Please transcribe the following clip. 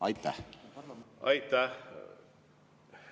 Aitäh!